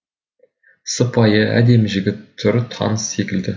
сыпайы әдемі жігіт түрі таныс секілді